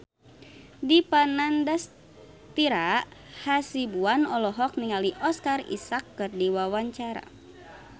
Dipa Nandastyra Hasibuan olohok ningali Oscar Isaac keur diwawancara